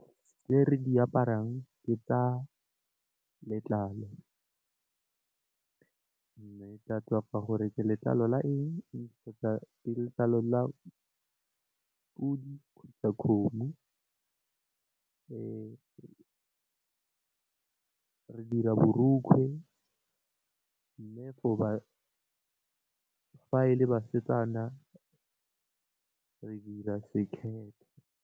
Tse re di aparang ke tsa letlalo. Mme di tswa ka gore ke letlalo la eng, kgotsa ke letlalo la podi kgotsa kgomo re dira borokgwe mme fa e le basetsana re dira sekhethe.